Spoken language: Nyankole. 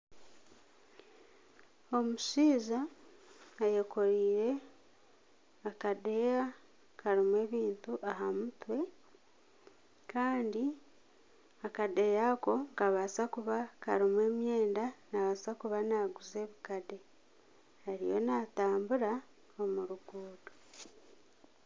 Omushaija ayekoreire akadeeya karimu ebintu aha mutwe Kandi akadeeya ako nikabaasa kuba karimu emyenda nabaasa kuba naguza ebikade ariyo natambura omu ruguuto.